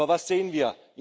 Aber was sehen wir?